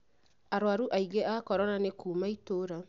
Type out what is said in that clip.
arũaru aingĩ a korona nĩ kũuma itũra.